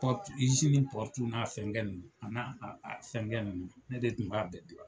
n'a fɛnkɛ nunnu, A n'a fɛn kɛ nunnu ne de tun b'a bɛɛ